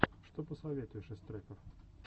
что посоветуешь из треков